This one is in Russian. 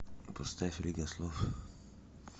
поставь лига слов